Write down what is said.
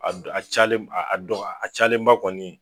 A dɔ a cayalen a dɔga a cayalenba kɔnii